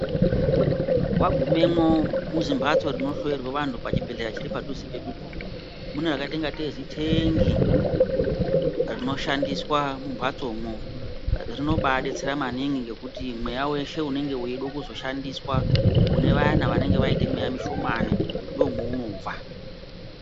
Wagumemwo muzimhatso rinohloyerwe antu pachibhedhlera chiri padhuze pedupo mune rakaite ingatei zitengi rinoshandiswa mumhatsomwo rinobaadetsera maningi ngekuti mweya weshe unenge weide kuzoshandiswa kune vayani vanenge vaite mweya mushomani ndomweunobva.